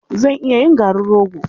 Zan iya yin garin rogo.